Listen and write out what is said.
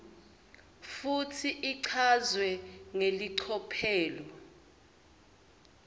futsi ichazwe ngelicophelo